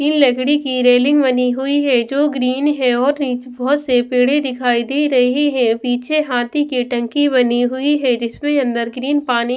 तीन लकड़ी की रेलिंग बनी हुई है जो ग्रीन है और निच बहुत से पेड़े दिखाई दे रहे हैं पीछे हाथी की टंकी बनी हुई है जिसमें अंदर ग्रीन पानी--